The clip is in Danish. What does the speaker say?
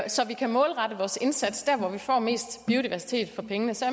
så vi kan målrette vores indsats der hvor vi får mest biodiversitet for pengene så